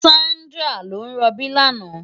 Sandra ló n ròbí làná